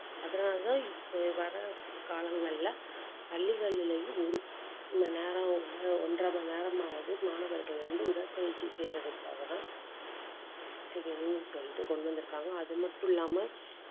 அதனாலதான் இப்ப வர காலங்கள்ல பள்ளிகளிலேயும் ஒரு நேரம் இல்லை ஒன்றரை மணி நேரமாவது மாணவர்கள் வந்து, உடற்பயிற்சி செய்யறதுக்காகதான் செய்யணும்ன்னு சொல்லிட்டு கொண்டு வந்திருக்காங்க. அது மட்டும் இல்லாம